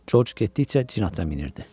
Corc getdikcə cin atına minirdi.